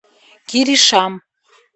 киришам